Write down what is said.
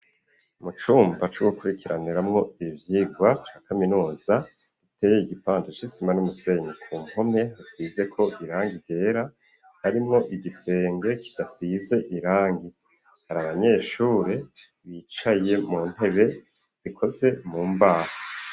Mu cumba c'ugukurikiraniramwo ivyigwa ca kaminuza, iteye igipanja c,isima n'umusenyi ku mpome hasizeko irangi ryera, harimwo igisenge kidasize irangi, hari abanyeshuri bicaye mu ntebe zikoze mu mbaha.